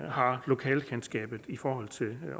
har lokalkendskabet i forhold til